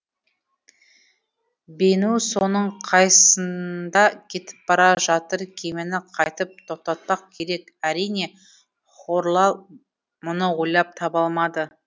бену соның қайсында кетіп бара жатыр кемені қайтып тоқтатпақ керек әрине хорлал мұны ойлап таба алмады